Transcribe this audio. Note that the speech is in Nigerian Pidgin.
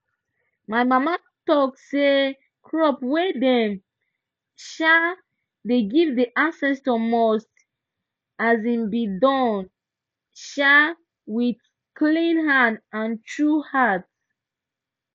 my mama talk say crop way dem um dey give the ancestors must um be Accepted um with clean hand and true heart